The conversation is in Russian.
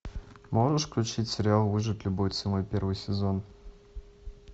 можешь включить сериал выжить любой ценой первый сезон